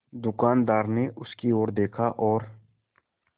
दुकानदार ने उसकी ओर देखा और